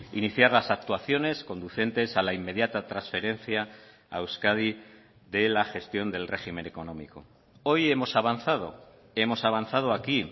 iniciar las actuaciones conducentes a la inmediata transferencia a euskadi de la gestión del régimen económico hoy hemos avanzado hemos avanzado aquí